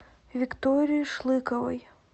виктории шлыковой